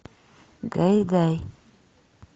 гай гай